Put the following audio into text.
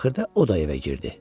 Axırda o da evə girdi.